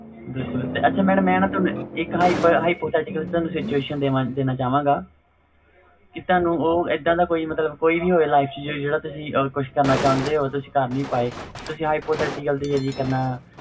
ਬਿਲਕੁਲ ਆਸ਼ਾ mam ਮੈਂ ਨਾ ਤੁਹਾਨੂੰ ਦੇਣਾ hypothetical situation ਚਾਵਗਾ ਕਿ ਤੁਹਾਨੂੰ ਇਹਦਾ ਦਾ ਕੋਈ ਵੀ ਹੋਵੇ life ਚ ਜਿਹੜਾ ਤੁਸੀ ਕਰਨਾ ਚਹੁੰਦੇ ਹੋਵੋ ਤੁਸੀ ਕਰ ਨਹੀਂ ਪਾਏ hypothetical ਦੇ ਜਰਿਏ